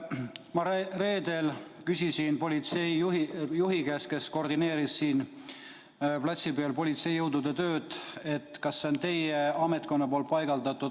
Reedel ma küsisin politseijuhi käest, kes koordineeris siin platsi peal politseijõudude tööd, kas see tõke on tema ametkonna paigaldatud.